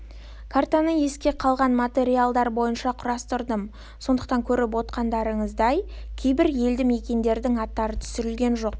картаны есте қалған материалдар бойынша құрастырдым сондықтан көріп отырсыздар кейбір елді мекендердің аттары түсірілген жоқ